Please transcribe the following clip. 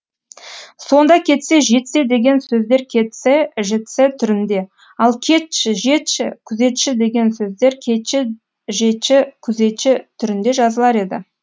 сонда кетсе жетсе деген сөздер кеце жеце түрінде ал кетші жетші күзетші деген сөздер кечі жечі күзечі түрінде жазылар еді